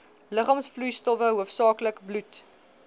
liggaamsvloeistowwe hoofsaaklik bloed